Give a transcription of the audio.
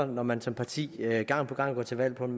når man som parti gang på gang går til valg på en